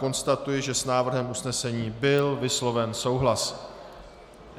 Konstatuji, že s návrhem usnesení byl vysloven souhlas.